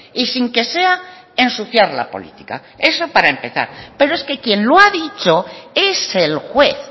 y sin que sea ensuciar la política eso para empezar pero es que quien lo ha dicho es el juez